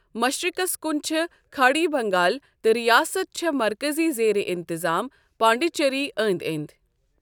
مشرِقس كُن چھے٘ كھاڈی بنگال تہٕ ریاست چھےٚ مركزی زیرِ انتظام پانڈیچری أندۍ أندۍ۔